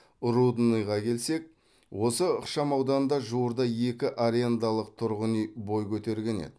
рудныйға келсек осы ықшамауданда жуырда екі арендалық тұрғын үй бой көтерген еді